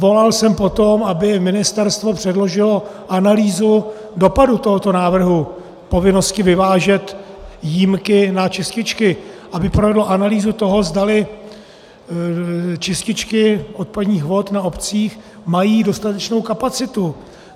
Volal jsem po tom, aby ministerstvo předložilo analýzu dopadu tohoto návrhu povinnosti vyvážet jímky na čističky, aby provedlo analýzu toho, zdali čističky odpadních vod v obcích mají dostatečnou kapacitu.